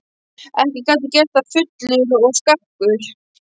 Ekki gat ég gert það fullur og skakkur.